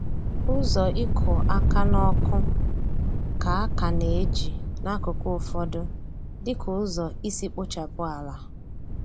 Ụzọ ịkụ aka n’ọkụ ka a ka na-eji n’akụkụ ụfọdụ dịka ụzọ isi kpochapụ ala.